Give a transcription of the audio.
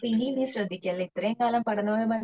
ഇനി നെ ശ്രെദ്ധിക്കാനില്ലേ ഇത്രേം കാലം പഠനവുമായി